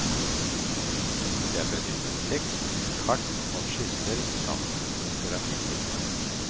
Det er benyttet tekst, kart og skisser samt fotografier.